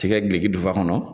Ti kɛ gileki dufa kɔnɔ